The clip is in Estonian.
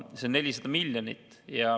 See on 400 miljonit.